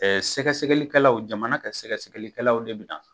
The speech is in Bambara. sɛgɛ sɛgɛli kɛlaw jamana ka sɛgɛ sɛgɛli kɛlaw de bɛ na.